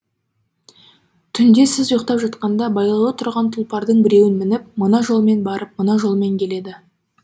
түнде сіз ұйықтап жатқанда байлаулы тұрған тұлпардың біреуін мініп мына жолмен барып мына жолмен келеді